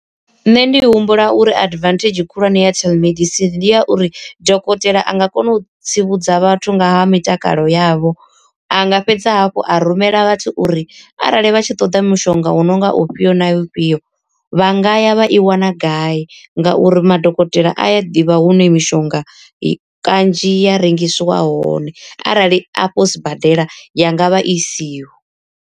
Nṋe ndi humbula uri advantage khulwane ya telemedicine ndi ya uri dokotela a nga kona u tsivhudza vhathu nga ha mitakalo yavho. Anga fhedza hafhu a rumela vhathu uri arali vha tshi ṱoḓa mushonga u no nga ufhio na ufhio vha ngaya vha i wana gai, nga uri madokotela a ya ḓivha hune mishonga kanzhi ya rengisiwa hone arali afho sibadela yanga vha i siho.